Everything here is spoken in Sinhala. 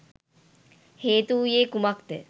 හේතු වූයේ කුමක් ද?